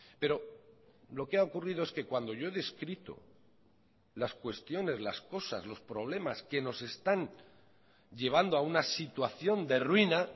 pero lo que ha ocurrido es que cuando yo he descrito las cuestiones las cosas los problemas que nos están llevando a una situación de ruina